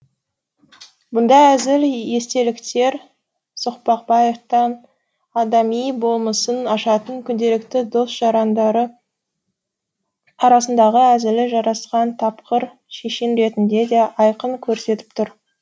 бұндай әзіл естеліктер соқпақбаевтың адами болмысын ашатын күнделікті дос жарандары арасындағы әзілі жарасқан тапқыр шешен ретінде де айқын көрсетіп тұр